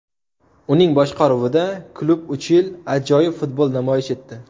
Uning boshqaruvida klub uch yil ajoyib futbol namoyish etdi.